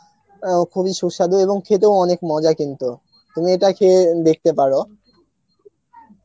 অ্যাঁ ও খুব এ সুস্বাধু এবং খেতেও অনেক মজার কিন্তু, তুমি ইটা খেয়ে দেখতে পারো